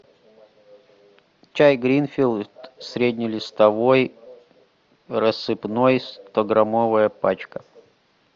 чай гринфилд среднелистовой рассыпной стограммовая пачка